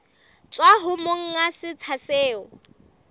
tswa ho monga setsha seo